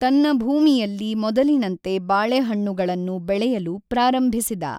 ತನ್ನ ಭೂಮಿಯಲ್ಲಿ ಮೊದಲಿನಂತೆ ಬಾಳೆಹಣ್ಣುಗಳನ್ನು ಬೆಳೆಯಲು ಪ್ರಾರಂಭಿಸಿದ.